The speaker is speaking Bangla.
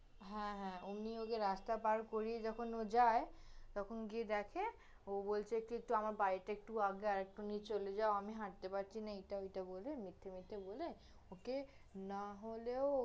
হ্যাঁ, হ্যাঁ, ওমনি ওকে রাস্তা পার করিয়ে যখন ও যায়, তখন গিয়ে দেখে, ও বলছে কি, একটু, আমার বাড়িতে একটু আগে, আরেকটু নিয়ে চলে যাও, আমি হাঁটতে পারছি না, এইটা ওইটা বলে, মিথ্যে মিথ্যে বলে ওকে না হলেও